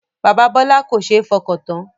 Bàbá Bọlá kò ṣe é fọkàn tán